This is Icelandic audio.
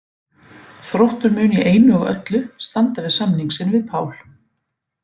Þróttur mun í einu og öllu standa við samning sinn við Pál.